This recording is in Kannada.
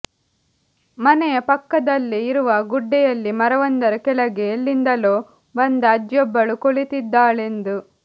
ಮನೆಯ ಪಕ್ಕದಲ್ಲೆ ಇರುವ ಗುಡ್ಡೆಯಲ್ಲಿ ಮರವೊಂದರ ಕೆಳಗೆ ಎಲ್ಲಿಂದಲೊ ಬಂದ ಅಜ್ಜಿಯೊಬ್ಬಳು ಕುಳಿತ್ತಿದ್ದಾಳೆಂದು